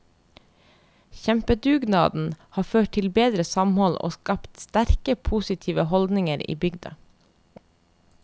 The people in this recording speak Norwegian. Kjempedugnaden har ført til bedre samhold og skapt sterke, positive holdninger i bygda.